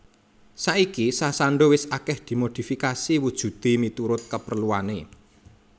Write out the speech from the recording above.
Saiki sasando wis akeh dimodifikasi wujude miturut kapreluane